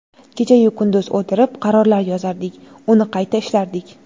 Kecha-yu kunduz o‘tirib, qarorlar yozardik, uni qayta ishlardik.